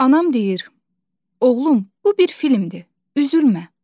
Anam deyir: Oğlum, bu bir filmdir, üzülmə.